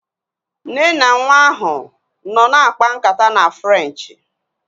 Nne na nwa ahu nọ na-akpa nkata na Frenchi